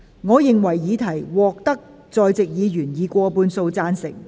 我認為議題獲得在席議員以過半數贊成。